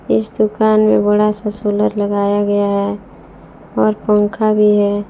इस दुकान में बड़ा सा सोलर लगाया गया है और पंखा भी है।